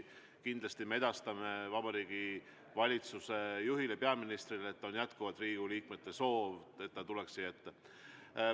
Kindlasti me edastame Vabariigi Valitsuse juhile, peaministrile, et jätkuvalt on Riigikogu liikmetel soov, et ta tuleks siia ette.